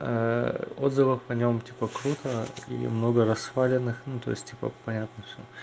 отзывы по нём типа круто и много раз сваленных ну то есть типа понятно всё